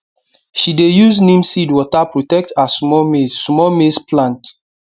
she dey use neem seed water protect her small maize small maize plant